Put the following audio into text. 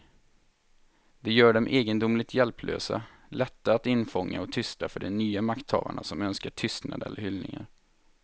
Det gör dem egendomligt hjälplösa, lätta att infånga och tysta för de nya makthavare som önskar tystnad eller hyllningar.